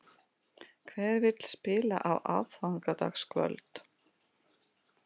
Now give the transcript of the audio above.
Hver vill spila á aðfangadagskvöld?